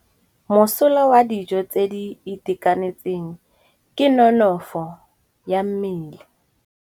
Mosola wa dijô tse di itekanetseng ke nonôfô ya mmele.